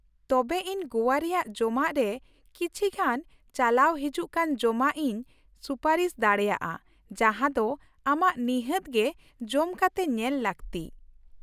ᱛᱚᱵᱮ ᱤᱧ ᱜᱚᱣᱟ ᱨᱮᱭᱟᱜ ᱡᱚᱢᱟᱜ ᱨᱮ ᱠᱤᱪᱷᱤᱜᱟᱱ ᱪᱟᱞᱟᱣ ᱦᱤᱡᱩᱜ ᱠᱟᱱ ᱡᱚᱢᱟᱜ ᱤᱧ ᱥᱩᱯᱟᱹᱨᱤᱥ ᱫᱟᱲᱮᱭᱟᱜᱼᱟ ᱡᱟᱦᱟᱸ ᱫᱚ ᱟᱢᱟᱜ ᱱᱤᱷᱟᱹᱛ ᱜᱮ ᱡᱚᱢ ᱠᱟᱛᱮ ᱧᱮᱞ ᱞᱟᱹᱠᱛᱤ ᱾